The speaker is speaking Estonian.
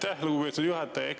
Aitäh, lugupeetud juhataja!